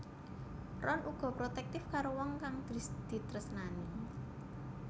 Ron uga protektif karo wong kang ditresnani